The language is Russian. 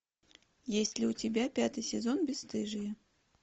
есть ли у тебя пятый сезон бесстыжие